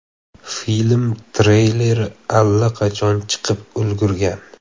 Film treyleri allaqachon chiqib ulgurgan.